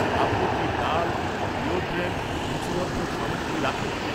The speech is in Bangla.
আপনি কি, ডাল, ডিওড্রেন্ট, রূচিবর্ধক সামগ্রী রাখেন?